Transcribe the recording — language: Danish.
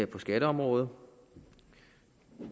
på skatteområdet